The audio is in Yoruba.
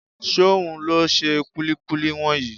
Ṣóhun ló ṣe kúlíkúlí wọ̀nyí?